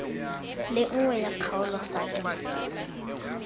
le nngwe ya kgaolo faele